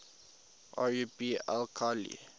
rub al khali